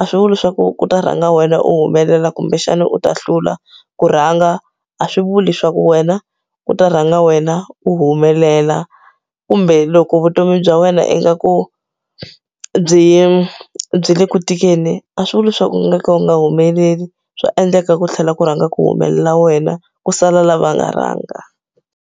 a swi vuli swa ku ku ta rhanga wena u humelela kumbexana u ta hlula ku rhanga a swi vuli leswaku wena u ta rhanga wena u humelela kumbe loko vutomi bya wena ingaku byi byi le ku tikeni a swi vuli leswaku u nga ka u nga humeleli swa endleka ku tlhela ku rhanga ku humelela wena ku sala lava nga rhanga.